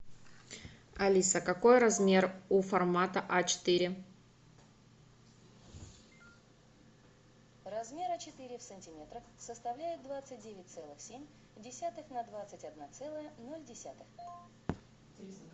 алиса какой размер у формата а четыре